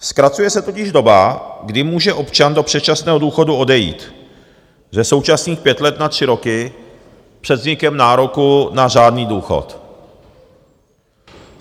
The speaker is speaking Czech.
Zkracuje se totiž doba, kdy může občan do předčasného důchodu odejít, ze současných pěti let na tři roky před vznikem nároku na řádný důchod.